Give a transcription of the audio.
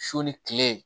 Su ni kile